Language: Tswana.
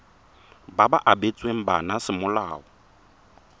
ba ba abetsweng bana semolao